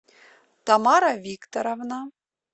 тамара викторовна